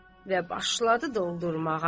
Və başladı doldurmağa.